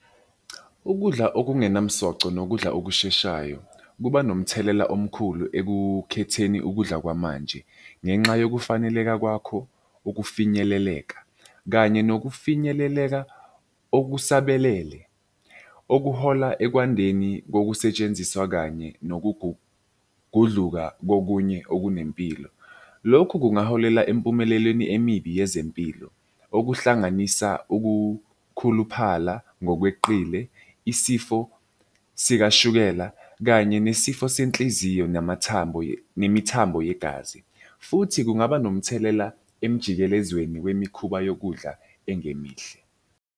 Ukudla okungenamsoco nokudla okusheshayo kuba nomthelela omkhulu ekukhetheni ukudla kwamanje, ngenxa yokufaneleke kwakho, ukufinyeleleka, kanye nokufinyeleleka okusebelele okuhola ekwandeni kokusetshenziswa kanye nokugudluka kokunye okunempilo. Lokhu kungaholela empumelelweni emibi yezempilo, okuhlanganisa ukukhuluphala ngokweqile, isifo sikashukela kanye nesifo senhliziyo namathambo nemithambo yegazi, futhi kungaba nomthelela emjikelezweni yemikhuba yokudla engemihle.